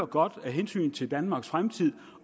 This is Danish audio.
godt af hensyn til danmarks fremtid